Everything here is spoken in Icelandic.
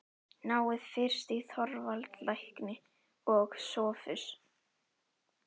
Náið fyrst í Þorvald lækni og Sophus.